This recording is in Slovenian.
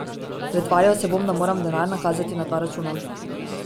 Pretvarjal se bom, da moram denar nakazati na dva računa.